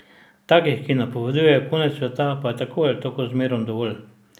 Takih, ki napovedujejo konec sveta, pa je tako ali tako zmerom dovolj.